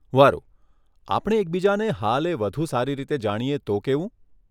વારુ, આપણે એકબીજાને હાલે વધુ સારી રીતે જાણીએ તો કેવું?